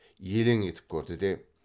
елең етіп көрді де